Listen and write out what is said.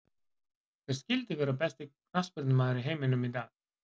Hver skyldi vera besti knattspyrnumaður í heiminum í dag?